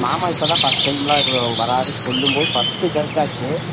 மாமா இப்பதான் first time எல்லாம் வர்றாருன்னு சொல்லும்போது first ஜர்க் ஆச்சு